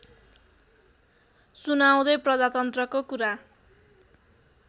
सुनाउँदै प्रजातन्त्रको कुरा